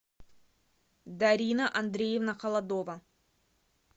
дарина андреевна холодова